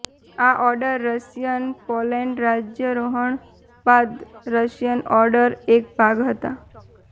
આ order Russian Poland રાજ્યારોહણ બાદ રશિયન ઓર્ડર એક ભાગ હતા